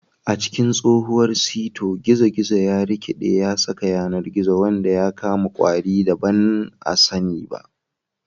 A cikin tsohuwar sito, gizo-gizo ya rikiɗe ya saƙa yanar gizo wanda ya kama ƙwari da ba a sani ba.